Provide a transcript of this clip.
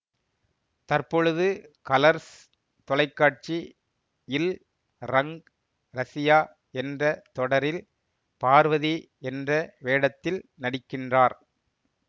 தற்பொழுது கலர்ஸ் தொலைக்காட்சி யில் ரங் ரசியா என்ற தொடரில் பார்வதி என்ற வேடத்தில் நடிக்கின்றார்